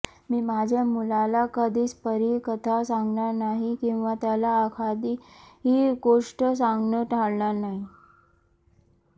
मी माझ्या मुलाला कधीच परीकथा सांगणार नाही किंवा त्याला एखादी गोष्ट सांगणं टाळणार नाही